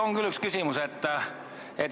On küll üks küsimus.